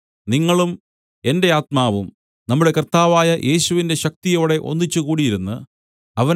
നിങ്ങളും എന്റെ ആത്മാവും നമ്മുടെ കർത്താവായ യേശുവിന്റെ ശക്തിയോടെ ഒന്നിച്ചുകൂടിയിരുന്ന് അവന്റെ